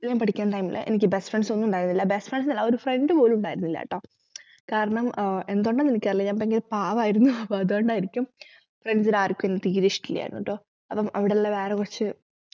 പഠിക്കുന്ന time ലു എനിക്ക് best friends ഒന്നും ഉണ്ടായിരുന്നില്ല best friends അല്ല ആ ഒരു friend പോലും ഉണ്ടായിരുന്നില്ലട്ടോ കാരണം എന്തുകൊണ്ട്ന്നു എനിക്കറിയില്ല ഞാൻ ഭയങ്കര പാവായിരുന്നു അപ്പൊ അതുകൊണ്ടായിരിക്കും friends നു ആർക്കും എന്നെ തീരെ ഇഷ്ടില്ലായിരുന്നു ട്ടോ